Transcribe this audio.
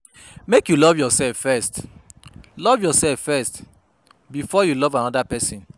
Make you love yoursef first, love yoursef first, before you love anoda person.